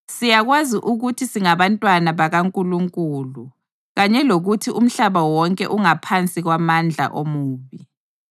Siyakwazi ukuthi singabantwana bakaNkulunkulu kanye lokuthi umhlaba wonke ungaphansi kwamandla omubi.